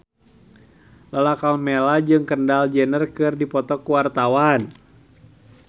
Lala Karmela jeung Kendall Jenner keur dipoto ku wartawan